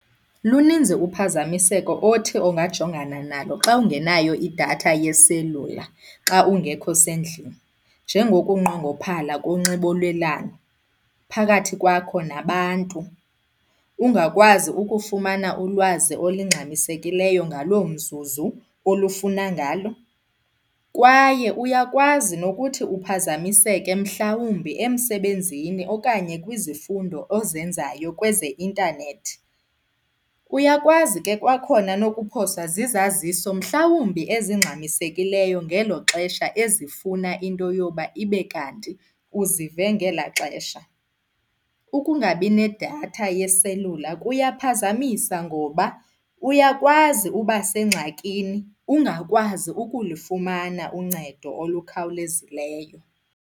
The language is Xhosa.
Luninzi uphazamiseko othi ongajongana nalo xa ungenayo idatha yeselula xa ungekho sendlini njengokunqongophala konxibelelwano phakathi kwakho nabantu, ungakwazi ukufumana ulwazi olingxamisekileyo ngaloo mzuzu olufuna ngalo, kwaye uyakwazi nokuthi uphazamiseke mhlawumbi emsebenzini okanye kwizifundo ozenzayo kwezeintanethi. Uyakwazi ke kwakhona nokuphoswa zizaziso mhlawumbi ezingxamisekileyo ngelo xesha ezifuna into yoba ibe kanti uzive ngelaa xesha. Ukungabi nedatha yeselula kuyaphazamisa ngoba uyakwazi uba sengxakini ungakwazi ukulifumana uncedo olukhawulezileyo.